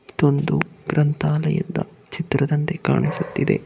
ಇದೊಂದು ಗ್ರಂಥಾಲಯ ಚಿತ್ರದಂತೆ ಕಾಣಿಸುತ್ತಿದೆ.